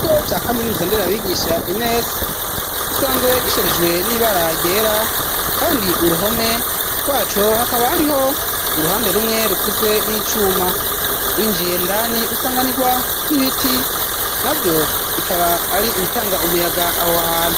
Ikigo ca kaminiruza nderabigisha enesi, gisanzwe gisherijwe n'ibara ryera, kandi uruhome rwaco hakaba hariho uruhande rumwe rukozwe n'icuma ,winjiye ndani usanganirwa n'ibiti ,navyo bikaba ari ibitanga umuyaga aho hantu.